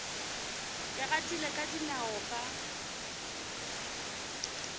ke gatile ka dinao ka